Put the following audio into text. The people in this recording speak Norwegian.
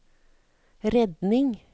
redning